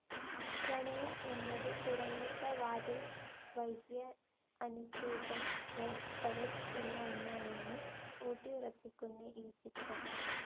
പ്രണയം എന്നത് തുറന്നിട്ട വാതിൽവഴ്യ അനുസ്യൂതം പ്രവഹിക്കുന്ന ഒന്നാണെന്ന് ഊട്ടിയുറപ്പിക്കുന്ന ഈ ചിത്രം.